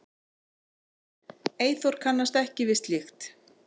Eyþór kannast ekki við slíkt.